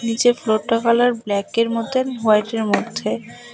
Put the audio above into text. নিচে ফ্লোরটার কালার ব্ল্যাকের মতোন হোয়াইটের মধ্যে।